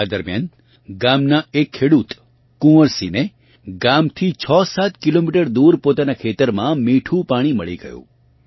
આ દરમિયાન ગામનાં એક ખેડૂત કુંવરસિંહ ને ગામથી 67 કિલોમીટર દૂર પોતાનાં ખેતરમાં મીઠું પાણી મળી ગયું